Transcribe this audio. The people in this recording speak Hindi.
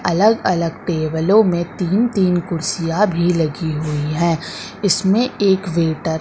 अलग अलग टेबलों में तीन तीन कुर्सियां भी लगी हुई है इसमें एक वेटर --